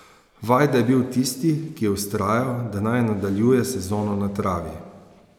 Vajda je bil tisti, ki je vztrajal, da naj nadaljuje sezono na travi.